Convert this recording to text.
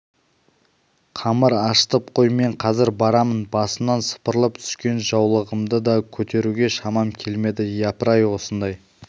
қамыр ашытып қой мен қазір барамын басымнан сыпырылып түскен жаулығымды да көтеруге шамам келмеді япырай осындай